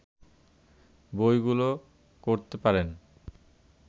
বইগুলো করতে পারেন